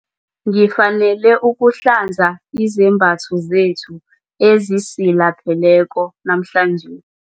Ngifanele ukuhlanza izembatho zethu ezisilapheleko namhlanje.